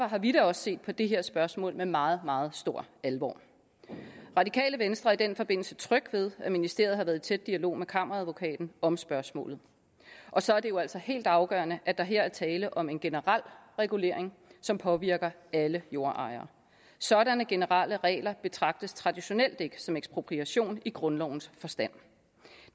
har vi da også set på det her spørgsmål med meget meget stor alvor det radikale venstre er i den forbindelse tryg ved at ministeriet har været i tæt dialog med kammeradvokaten om spørgsmålet og så er det jo altså helt afgørende at der her er tale om en generel regulering som påvirker alle jordejere sådanne generelle regler betragtes traditionelt ikke som ekspropriation i grundlovens forstand